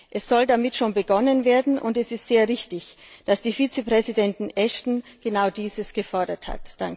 Es soll damit schon begonnen werden, und es ist sehr richtig, dass die Vizepräsidentin Ashton genau dies gefordert hat.